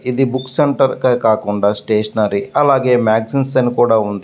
ఇది book centre అనే కాకుండా స్టేషనరీ అల్లాగే మాగ్ జైస్ అని కూడా ఉంది.